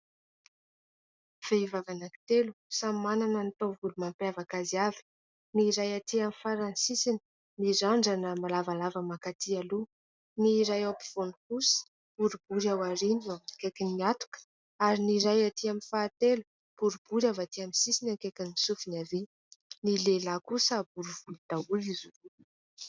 Vehivavy anankitelo, samy manana ny taovolo mampiavaka azy avy. Ny iray aty amin'ny farany sisiny, mirandrana lavalava mankaty aloha ; ny iray eo ampovoany kosa, boribory ao aoriana akaikin'ny hatoka ; ary ny iray aty amin'ny fahatelo, boribory avy aty amin'ny sisiny akaikin'ny sofiny havia. Ny lehilahy kosa bory volo daholo izy roa.